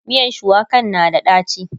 miyan shuwakan na da daci